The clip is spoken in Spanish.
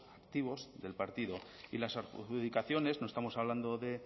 activos del partido y las adjudicaciones no estamos hablando de